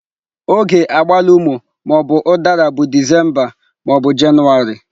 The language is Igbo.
Oge agbalumo/udara bụ Disemba Jenụwarị.